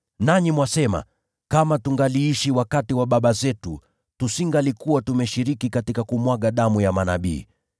Nanyi mwasema, ‘Kama tungaliishi wakati wa baba zetu, tusingalikuwa tumeshiriki katika kumwaga damu ya manabii!’